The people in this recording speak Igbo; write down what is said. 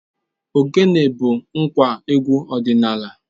Ogene bu ngwa egwu odinala.